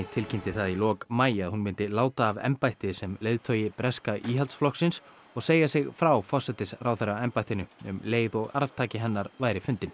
tilkynnti það í lok maí að hún myndi láta af embætti sem leiðtogi breska Íhaldsflokksins og segja sig frá forsætisráðherraembættinu um leið og arftaki hennar væri fundinn